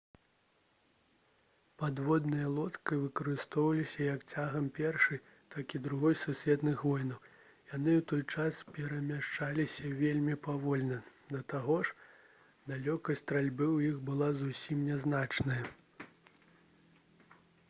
падводныя лодкі выкарыстоўваліся як цягам першай так і другой сусветных войнаў яны ў той час перамяшчаліся вельмі павольна да таго ж далёкасць стральбы ў іх была зусім нязначная